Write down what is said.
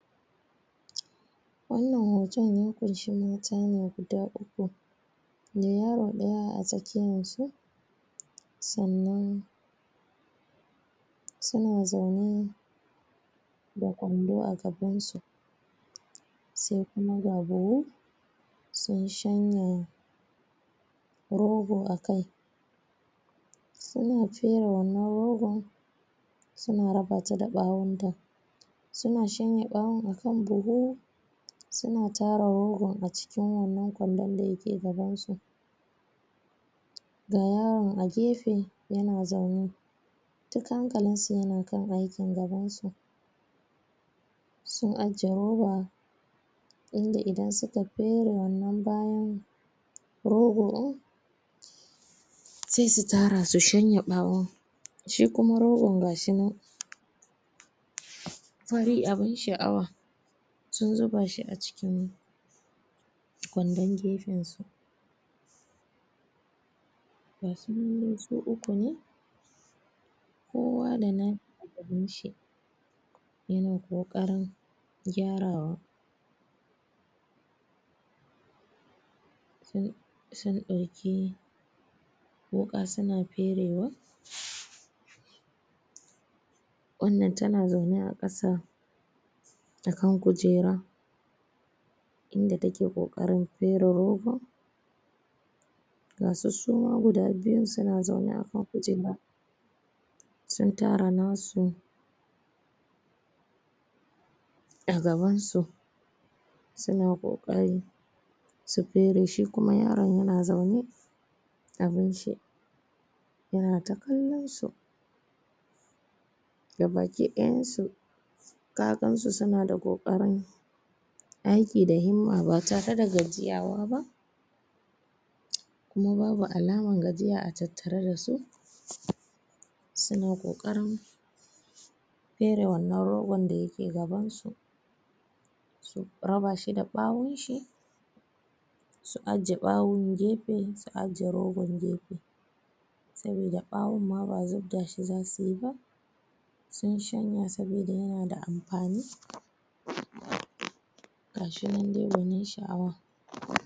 wannan hoton ya kunshi mata ne guda uku mai yaro daya a tsakiyan su sannan suna zaune da ƙwando a gaban su sai kuma ga buhu sun shanya rogo a kai suna fere wannan rogon suna raba ta da ɓawon ta suna shanye ɓawon a kan buhu suna tara rogon a cikin wannan ƙwandon dake gaban su ga yaron a gefe yana zaune duk hankalin su na kan aikin gaban su sun ajiye roba inda qidan suka fere wannan bawon rogo din sai su tara su shanye bawon shi kuma rogon gashi nan fari abun sha'awa sun zuba shi a cikin ƙwandon gefen su gashi nan dai su uku ne kowa da nashi a gaban shi yana kokarin gyarawa sun dauki wuka suna fere wa wannan tana zaune a kasa a kan kujera inda take kokarin fere rogon gasu suma guda biyun suna zaune a a kujera sun tara nasu a gaban su suna kokari su fere shi kuma yaron yana zaune abin shi yana ta kallon su gabaki dayan su ka gansu suna da kokarin aiki da himma ba tare da gajiyawa ba kuma babu alaman gajiya a tattare dasu suna kokarin fere wannan rogon da yake gaban su su raba shi da ɓawon shi su ajiye bawon gefe su ajiye rogon gefe sabida ɓawon ma ba zubda shi zasuyi ba sun shanya sabida yana da amfani gashi nan dai gonin sha'awa